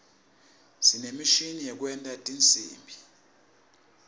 sinemishini yekwenta tinsimbi